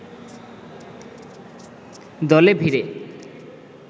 দলে ভিড়ে